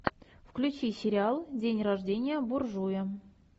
включи сериал день рождения буржуя